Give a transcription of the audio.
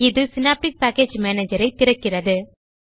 இது Synaptic package Managerஐ திறக்கிறது